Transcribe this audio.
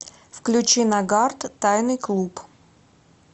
включи нагарт тайный клуб